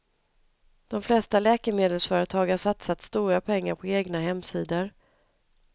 De flesta läkemedelsföretag har satsat stora pengar på egna hemsidor.